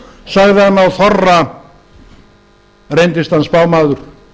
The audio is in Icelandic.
sagði hann á þorra reyndist hann spámaður